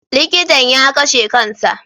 Likitan ya kashe kan sa.